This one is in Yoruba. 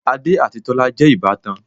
Adé àti Tọ́lá jẹ́ ìbátan